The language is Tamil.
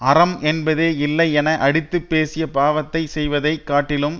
அறம் என்பதே இல்லை என அடித்துப் பேசிப் பாவத்தைச் செய்வதை காட்டிலும்